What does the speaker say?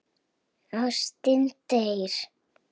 Ástin deyr.